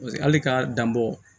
Paseke hali ka dan bɔ